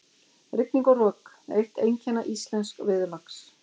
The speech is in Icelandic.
Rigning og rok- eitt einkenna íslensks veðurlags.